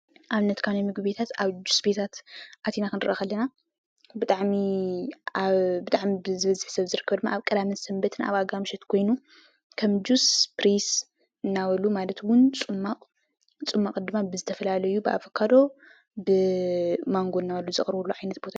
ኣብነት ካብ ምግቢቤታት ኣብ ጁስ ቤታት ኣቲና ክንሪአ ከለና ብጣዕሚ ኣብ ብጣዕሚ ዝበዝሕ ሰብ ኣብ ኣብ ቀዳምን ሰንበት ኮይኑ ኣብ ኣጋምሸት ኮይኑ ከም ጁስ ስፒሪስ እናበሉ ማለትውን ፅሟቕ ፅሟቕ ድማ ብዝተፈላለዩ ብኣቮካዶ ብማንጎ እናበሉ ዘቕርብዎ ዓይነት